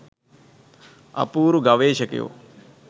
අපූරු ගවේෂකයෝ